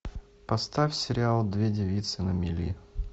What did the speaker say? поставь сериал две девицы на мели